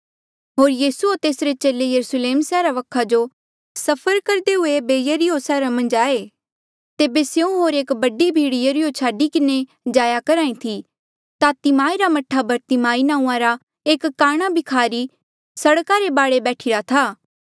होर यीसू होर तेसरे चेले यरुस्लेम सैहरा वखा जो सफर करदे हुए ऐबे यरीहो सैहरा मन्झ आये तेबे स्यों होर एक बडी भीड़ यरीहो छाडी किन्हें जाया करहा ई थी ता तिमाई रा मह्ठा बरतिमाई नांऊँआं रा एक काणा भिखारी सड़का रे बाढे बैठिरा था